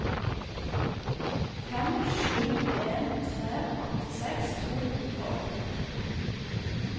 fem sju en tre åttiseks to hundre og nitti